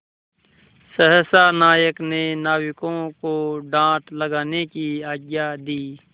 सहसा नायक ने नाविकों को डाँड लगाने की आज्ञा दी